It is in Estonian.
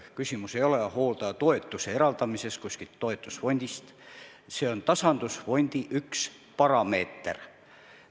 Küsimus ei ole hooldajatoetuse eraldamises kuskilt toetusfondist, see on tasandusfondi üks parameeter.